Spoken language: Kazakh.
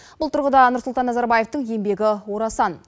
бұл тұрғыда нұрсұлтан назарбаевтың еңбегі орасан